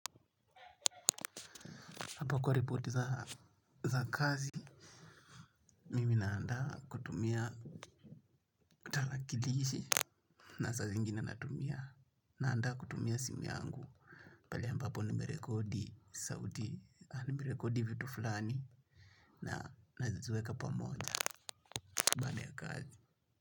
Hapa kwa ripoti za kazi, mimi naanda kutumia tarakilishi na saa zingine natumia. Naanda kutumia simu yangu pale ambapo nimerekodi sauti, nimerekodi vitu fulani na naziweka pamoja baada ya kazi.